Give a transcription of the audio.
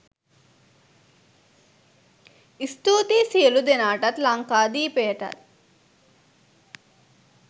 ස්තූතියි සියලු දෙනාටත් ලංකාදීපයටත්